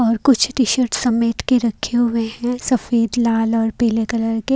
और कुछ टी-शर्ट समेट के रखे हुए हैं सफेद लाल और पीले कलर के--